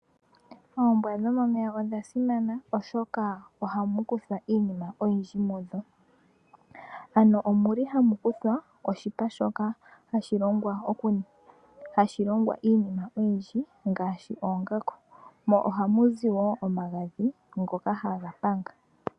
Oombwa dhomomeya odha simana oshoka ohamu kuthwa iinima oyindji mu dho. Ohaku kuthwa oshipa, shoka hashi longithwa okuninga iinima oyindji ngaashi oongaku, mo ohamu zi wo omagadhi ngoka haga panga.